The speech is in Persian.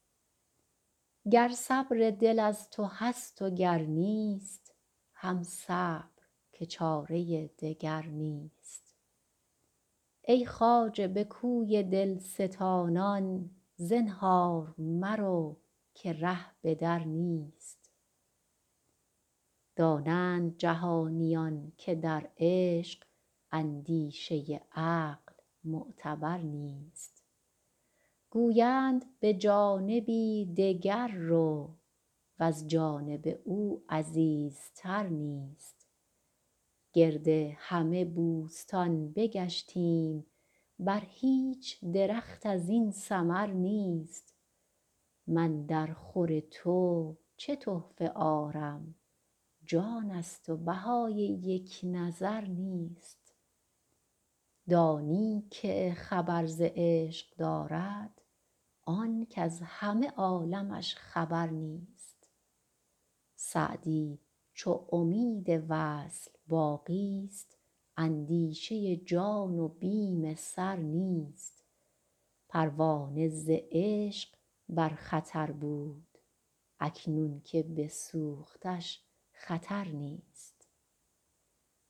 گر صبر دل از تو هست و گر نیست هم صبر که چاره دگر نیست ای خواجه به کوی دل ستانان زنهار مرو که ره به در نیست دانند جهانیان که در عشق اندیشه عقل معتبر نیست گویند به جانبی دگر رو وز جانب او عزیزتر نیست گرد همه بوستان بگشتیم بر هیچ درخت از این ثمر نیست من درخور تو چه تحفه آرم جان ست و بهای یک نظر نیست دانی که خبر ز عشق دارد آن کز همه عالمش خبر نیست سعدی چو امید وصل باقی ست اندیشه جان و بیم سر نیست پروانه ز عشق بر خطر بود اکنون که بسوختش خطر نیست